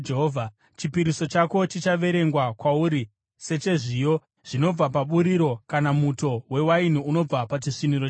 Chipiriso chako chichaverengwa kwauri sechezviyo zvinobva paburiro kana muto wewaini unobva pachisviniro chewaini.